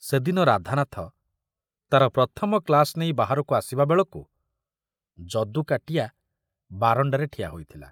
ସେ ଦିନ ରାଧାନାଥ ତାର ପ୍ରଥମ କ୍ଲାସ ନେଇ ବାହାରକୁ ଆସିବା ବେଳକୁ ଯଦୁ କାଟିଆ ବାରଣ୍ଡାରେ ଠିଆ ହୋଇଥିଲା।